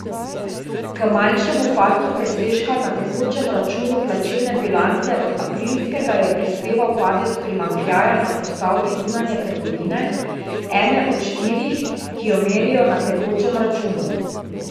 K manjšemu padcu presežka na tekočem računu plačilne bilance od aprilskega je prispeval padec primanjkljaja na postavki zunanje trgovine, ene od štirih, ki jo merijo na tekočem računu.